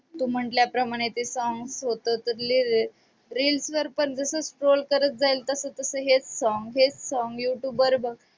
तू म्हंटल्याप्रमाणे ते song reels वर पण जसं scroll करत जाईल तसं तसं हेच song हेच song YouTube वर बघ.